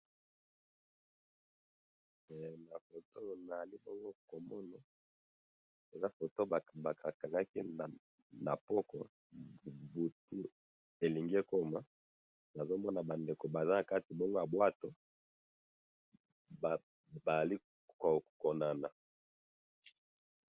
he nafoto oyo nazali komona ezali foto batu bakangaki na poko butu elingi ekoma nazomona ba ndeko bazali nakati ya bateau bazali ko konana